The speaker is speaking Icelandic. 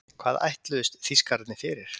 Hvað ætluðust Þýskararnir fyrir?